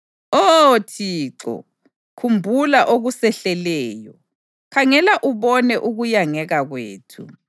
Oh Thixo, khumbula okusehleleyo khangela ubone ukuyangeka kwethu.